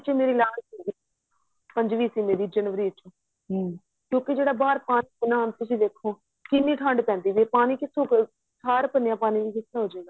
ਮੇਰੀ last ਸੀਗੀ ਪੰਜਵੀਂ ਸੀ ਮੇਰੀ ਜਨਵਰੀ ਚ ਕਿਉਂਕਿ ਜਿਹੜਾ ਬਹਾਰ ਪਾਣੀ ਏ ਨਾ ਤੁਸੀਂ ਵੇਖੋ ਕਿੰਨੀ ਠੰਡ ਪੈਂਦੀ ਏ ਪਾਣੀ ਕਿਥੋ ਠਾਰ ਭੰਨਿਆ ਪਾਣੀ ਕਿਥੋ ਹੋਜੇਗਾ